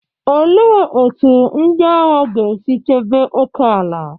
Kedu ka ndị agha ga-esi chebe oke ala?